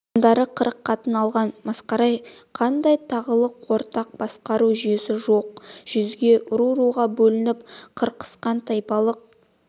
хандары қырық қатын алған масқара-ай қандай тағылық ортақ басқару жүйесі жоқ жүзге ру-руға бөлініп қырқысқан тайпалық